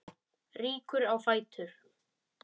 Rýkur á fætur.